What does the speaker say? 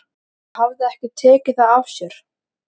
Hún hafði ekki tekið það af sér.